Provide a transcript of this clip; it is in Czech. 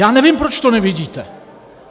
Já nevím, proč to nevidíte!